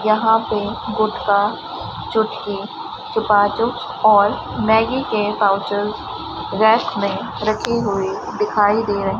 यहां पे गुटका चुटकी चुपा चुप और मैगी के पाउचेस रैक में रखे हुए दिखाई दे रहे --